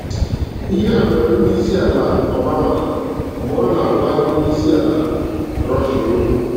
Ihe a mere Onyeisi ala Obama mgbe ọ na-agwa onyeisi ala Russia okwu.